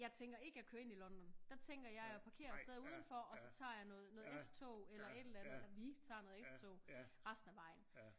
Jeg tænker ikke at køre ind i London der tænker jeg at jeg parkerer stadig uden for og så tager jeg noget noget S-tog eller et eller andet eller vi taget noget S-tog resten af vejen